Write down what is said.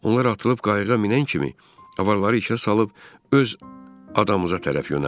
Onlar atılıb qayıqa minən kimi avaraları içəri salıb öz adamımıza tərəf yönəldim.